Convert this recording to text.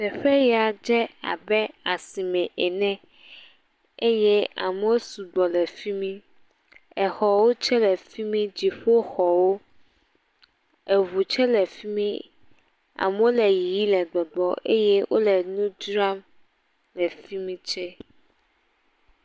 Teƒe ya dze abe asime ene eye amewo sɔ gbɔ le fi mi. exɔwo tse le fi mi. dziƒoxɔwo. Eŋu tse le fi mi. amewo le yiyim le gbɔgbɔ eye wole nu dzram le fi mi tse.